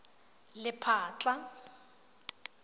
lephatla